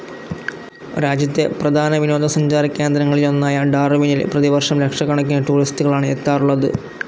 രാജ്യത്തെ പ്രധാന വിനോദസഞ്ചാരകേന്ദ്രങ്ങളിലൊന്നായ ഡാർവിനിൽ പ്രതിവർഷം ലക്ഷക്കണക്കിന് ടൂറിസ്റ്റ്കളാണ് എത്താറുള്ളത്.